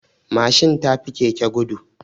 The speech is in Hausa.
Mashin tafi keke gudu